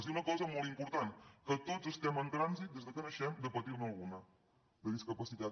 i una cosa molt important que tots estem en trànsit des que naixement de patir ne alguna de discapacitat